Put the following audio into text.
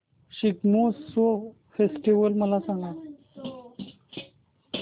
Shigmotsav festival मला सांग